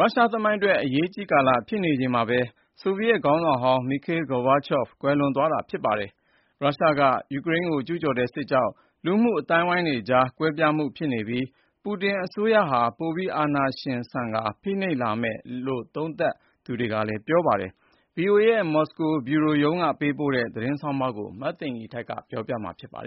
ရုရှားရဲ့ သမိုင်းမှာ အရေးကြီးတဲ့ အချိန်မှာဘဲ ဆိုဗီယက် ခေါင်းဆောင် Mikhail Gorbachev ကွယ်လွန်ခဲ့တာ ဖြစ်ပါတယ်။ ရုရှားရဲ့ ယူကရိန်း ကျူးကျော်စစ်ကြောင့် လူမှု အသိုင်းအဝိုင်းကြား ကွဲပြားနေပြီး Vladimir Putin အစိုးရဟာ ပိုပြီး အာဏာရှင်ဆန်ကာ ဖိနှိပ်လာမယ်လို့ သုံးသပ်သူတွေက ပြောဆိုကြပါတယ်။ ဗွီအိုအေရဲ့ မော်စကို ဗြူရိုက ပေးပိုတဲ့ သတင်းဆောင်းပါးကို မသိင်္ဂ ီထိုက် ပြောပြပေးမှာပါ။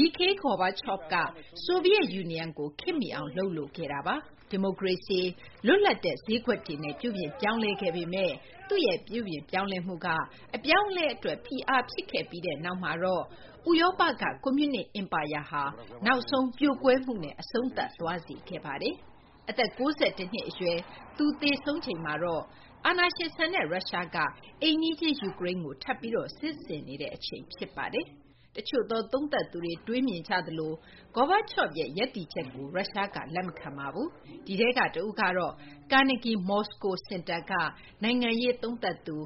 Mikhail Gorbachev က ဆိုဗီယက် ယူနီယံကို ခေတ်မီအောင် လုပ်လိုခဲ့တာပါ။ ဒီမိုကရေစီ၊ လွတ်လပ်တဲ့ ဈေးကွက်တွေနဲ့ ပြုပြင်ပြောင်းလဲခဲ့ပေမယ့် သူ့ရဲ့ ပြုပြင်ပြောင်းလဲမှုက အပြောင်းအလဲ အတွက် ဖိအားဖြစ်ခဲ့ပြီးနောက်မှာတော့ ဥရောပက ကွန်မြူနစ် အင်ပါယာဟာ နောက်ဆုံး ပြိုကွဲမှုနဲ့ အဆုံးသတ်သွားစေခဲ့ပါတယ်။ အသက် ၉၁ နှစ် အရွယ်မှာ သူ သေဆုံးချိန်မှာတော့ အာဏာရှင်ဆန်တဲ့ ရုရှားက အိမ်နီးချင်း ယူကရိန်းကို ထပ်ပြီး စစ်ဆင်နေတဲ့ အချိန် ဖြစ်ပါတယ်။ တချို့သော သုံးသပ်သူတွေ တွေးမြင်ကြသလို Gorbachev ရဲ့ ရပ်တည်ချက်ကို ရုရှားက လက်မခံပါဘူး။ ဒီထဲက တဦးကတော့ Carnegie Moscow စင်တာက နိုင်ငံရေး သုံးသပ်သူ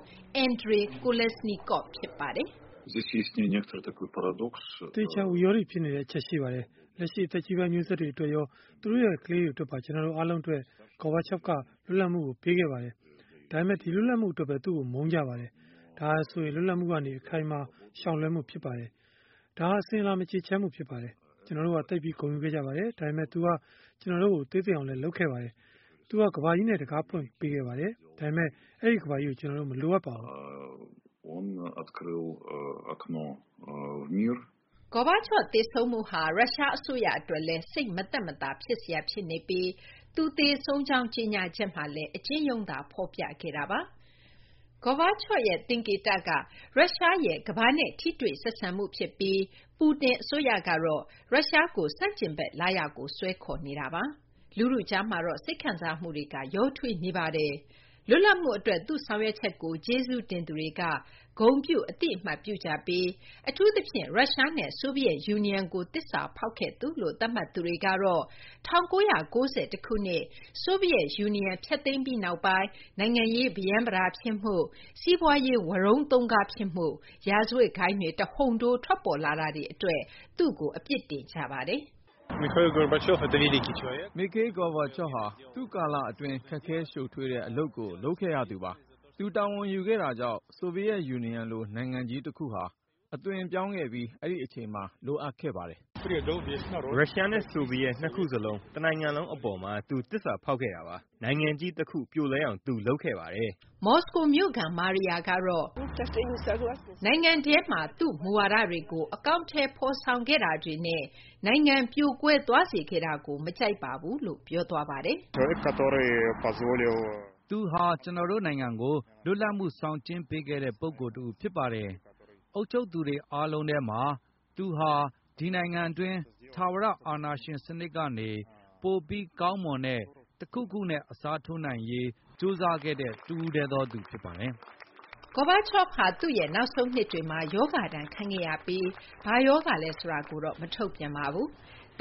Andrey Kolesnikov ဖြစ်ပါတယ်။ “ အသေအချာ ဝိရောဒိ ဖြစ်နေတဲ့ အချက်ရှိပါတယ်။ လက်ရှိ အသက်ကြီးပိုင်း မျိုးဆက်တွေ အတွက်ရော သူတို့ရဲ့ ကလေးတွေ အတွက်ပါ ကျနော်တို့ အားလုံး အတွက် Gorbachev က လွတ်လပ်မှုကို ပေးခဲ့ပါတယ်။ ဒါပေမယ့် ဒီ လွတ်လပ်မှု အတွက်ဘဲ သူ့ကို မုန်းကြပါတယ်။ ဒါဟာဆိုရင် လွတ်လပ်မှုကနေ အခိုင်အမာ ရှောင်လွှဲမှု ဖြစ်ပါတယ်။ ဒါဟာ အစဉ်အလာ မကျေချမ်းမှု ဖြစ်ပါတယ်။ ကျနော်တို့ဟာ သိပ်ပြီး ဂုဏ်ယူခဲ့ကြပါတယ်။ ဒါပေမယ့် သူက ကျနော်တို့ကို သေးသိမ်းအောင် လုပ်ခဲ့ပါတယ်။ သူက ကမ္ဘာကြီးနဲ့ တခါးဖွင့်ပေးခဲ့ပါတယ်။ ဒါပေမယ့် အဲဒီ ကမ္ဘာကြီးကို ကျနော်တို့ မလိုအပ်ပါဘူး။ ” Gorbachev သေဆုံးမှုဟာ ရုရှား အစိုးရ အတွက်လည်း စိတ်မသက်မသာ ဖြစ်စရာ ဖြစ်နေပြီး သူသေဆုံးကြောင်း ကြေညာချက်မှာလည်း အကျဉ်းရုံးသာ ဖော်ပြခဲ့တာပါ။ Gorbachev ရဲ့ သင်္ကေတက ရုရှားရဲ့ ကမ္ဘာနဲ့ ထိတွေ့ဆက်ဆံမှု ဖြစ်ပြီး Putin အစိုးရကတော့ ရုရှားကို ဆန့်ကျင်ဘက် လားရာကို ဆွဲခေါ်နေတာပါ။ လူထုကြားမှာတော့ စိတ်ခံစားမှုတွေက ရောထွေးနေပါတယ်။ လွတ်လပ်မှု အတွက် သူ့ဆောင်ရွက်ချက်ကို ကျေးဇူးတင်သူတွေက ဂုဏ်ပြု အသိအမှတ်ပြုကြပြီး အထူးသဖြင့် ရုရှားနဲ့ ဆိုဗီယက်ယူနီယံကို သစ္စာဖောက်ခဲ့သူလို့ သတ်မှတ်သူတွေကတော့ ၁၉၉၁ ခုနှစ် ဆိုဗီယက် ယူနီယံ ဖျက်သိမ်းပြီးနောက်ပိုင်း နိုင်ငံရေး ပရမ်းပတာဖြစ်မှု၊ စီးပွားရေး ဝရုန်းသုန်းကားဖြစ်မှု၊ ရာဇဝတ်ဂိုဏ်းတွေ တဟုန်ထိုး ထွက်ပေါ်လာတာတွေ အတွက် သူ့ကို အပြစ်တင်ကြပါတယ်။ “Mikhail Gorbachev ဟာ သူ့ကာလ အတွင်း ခက်ခဲရှုပ်ထွေးတဲ့ အလုပ်ကို လုပ်ခဲ့ရသူပါ။ သူ တာဝန်ယူခဲ့တာကြောင့် ဆိုဗီယက် ယူနီယံလို နိုင်ငံတခုဟာ အသွင်ပြောင်းခဲ့ပြီး အဲဒီအချိန်မှာ လိုအပ်ခဲ့ပါတယ်။” “ရုရှားနဲ့ ဆိုဗီယက် နှစ်ခုစလုံး တနိုင်ငံလုံး အပေါ်မှာ သူ သစ္စာဖောက်ခဲ့တာပါ။ နိုင်ငံကြီး တခု ပြိုလဲအောင် သူ လုပ်ခဲ့ပါတယ်။ ” မော်စကို မြို့ခံ Maria ကတော့ နိုင်ငံထဲမှာ သူ့မူဝါဒတွေကို အကောင်အထည် ဖော်ဆောင်ခဲ့တာတွေနဲ့ နိုင်ငံ ပြိုကွဲသွားစေခဲ့တာကို မကြိုက်ပါဘူးလို့ ပြောပါတယ်။ “ ကျနော်တို့ နိုင်ငံကို လွတ်လပ်မှု ဆောင်ကျဉ်းပေးခဲ့တဲ့ ပုဂ္ဂိုလ်တဦး ဖြစ်ပါတယ်။ အုပ်ချုပ်သူတွေ အားလုံးထဲမှာ သူဟာဆိုရင် ဒီနိုင်ငံတွင်း ထာဝရ အာဏာရှင် စနစ်ကနေ ပိုပြီး ကောင်းမွန်တဲ့ တခုခုနဲ့ အစားထိုးနိုင်ရေး ကြိုးစားခဲ့တဲ့ တဦးတည်းသောသူ ဖြစ်ပါတယ်။ ” Gorbachev ဟာ သူ့ရဲ့ နောက်ဆုံး နှစ်တွေမှာ ရောဂါဒဏ် ခံခဲ့ရပြီး ဘာရောဂါလဲ ဆိုတာကိုတော့ မထုတ်ပြန်ပါဘူး။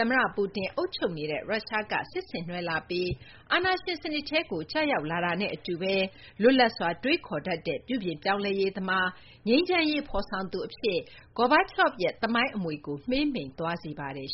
သမ္မတ Putin အုပ်ချုပ်နေတဲ့ ရုရှားက စစ်ဆင်နွှဲလာပြီး အာဏာရှင်စနစ်ထဲကို ကျရောက်လာတာနဲ့ အတူဘဲ လွတ်လပ်စွာ တွေးခေါ်တတ်တဲ့ ပြုပြင်ပြောင်းလဲရေးသမား နဲ့ ငြိမ်းချမ်းရေး ဖော်ဆောင်သူ အဖြစ် Gorbachev ရဲ့ သမိုင်းအမွေကို မှေးမှိန်သွားစေပါတယ်